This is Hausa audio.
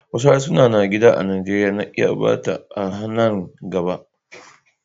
Wasu harsuna na gida a Nijeriya na iya ɓata a nan gaba.